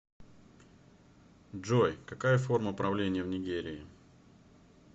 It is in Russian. джой какая форма правления в нигерии